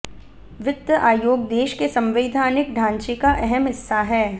वित्त आयोग देश के संवैधानिक ढांचे का अहम हिस्सा हैं